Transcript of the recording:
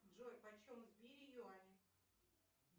джой почем в сбере юани